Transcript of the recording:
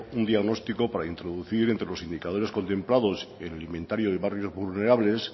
un diagnóstico para introducir entre los indicadores contemplados en el inventario de barrios vulnerables